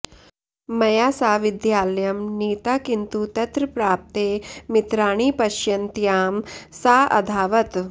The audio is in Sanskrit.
मया सा विद्यालयं नीता किन्तु तत्र प्राप्ते मित्राणि पश्यन्त्याम् सा अधावत्